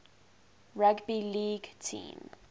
rugby league team